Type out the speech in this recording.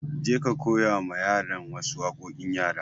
Je ka koya ma yaran wa su waƙoƙin yara!